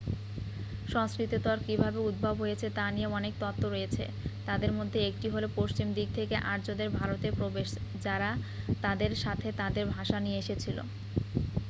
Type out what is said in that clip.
সংস্কৃতর কিভাবে উদ্ভব হয়েছে তা নিয়ে অনেক তত্ত্ব রয়েছে তাদের মধ্যে একটি হলো পশ্চিম দিক থেকে আর্যদের ভারতে প্রবেশ যারা তাদের সাথে তাদের ভাষা নিয়ে এসেছিল